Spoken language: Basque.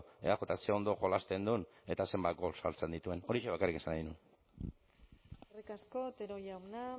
eajk ze ondo jolasten duen eta zenbat gol sartzen dituen horixe bakarrik esan nahi nuen eskerrik asko otero jauna